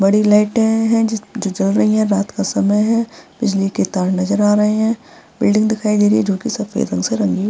बड़ी लाइटें हैं जिस जो जल रही हैं रात का समय है बिजली के तार नजर आ रहें हैं। बिल्डिंग दिखाई दे रही है जो की सफ़ेद रंग से रंगी --